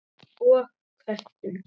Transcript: Og köttum.